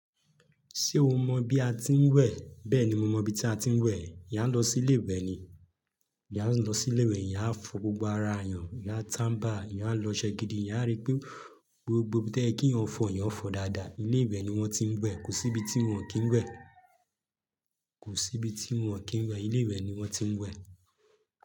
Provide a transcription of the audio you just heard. Ṣé o mọ bi a ti ń wẹ̀? Bẹ́ẹ̀ni, mo mọ ibi tí a ti ń wẹ̀. Eeyáń a lọ sí ilé ìwẹ̀ ni. Eeyáń a lọ sí ilé ìwẹ̀, eeyáń a fọ gbogbo ara eeyàn, eeyáń a tàmbà, eeyáń a lọ oṣẹ gidi, eeyán a rí pé gbogbo ibi tẹ e ki eeyàn fọ̀, eeyàn fọ̀ dáadáa. Ilé ìwẹ̀ ni wọ́n ti ń wẹ̀. Kò sí ibi tí wọn kì ń wẹ̀. Kò sí ibi tí wọn kì ń wẹ̀. Ilé ìwẹ̀ ni wọ́n ti ń wẹ̀.